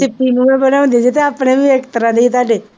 ਮੂਹਰੇ ਵਰਾਉਂਦੇ ਸੀ ਅਤੇ ਆਪਣੇ ਵੀ ਇਸ ਤਰ੍ਹਾਂ ਦੇ ਸੀ ਤੁਹਾਡੇ